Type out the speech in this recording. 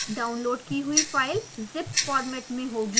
download की हुई file zip format में होगी